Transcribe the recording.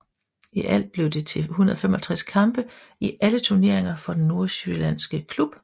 I alt blev det til 155 kampe i alle turneringer for den nordsjællandske klub